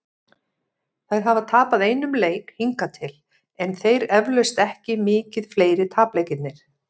Þær hafa tapað einum leik hingað til, en þeir eflaust ekki mikið fleiri- tapleikirnir.